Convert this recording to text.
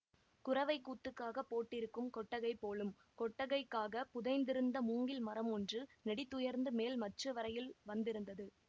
குரவைக்கூத்துக்காகப் போட்டிருக்கும் கொட்டகை போலும் கொட்டகைக்காகப் புதைத்திருந்த மூங்கில் மரம் ஒன்று நெடிதுயர்ந்து மேல் மச்சு வரையில் வந்திருந்தது